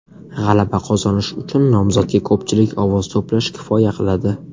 G‘alaba qozonish uchun nomzodga ko‘pchilik ovoz to‘plash kifoya qiladi.